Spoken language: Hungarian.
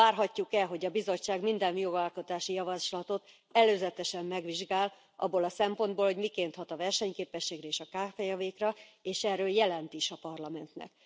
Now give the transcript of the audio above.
Várhatjuk e, hogy a Bizottság minden jogalkotási javaslatot előzetesen megvizsgál abból a szempontból, hogy miként hat a versenyképességre, és a kkv kra, és erről jelent is a Parlamentnek?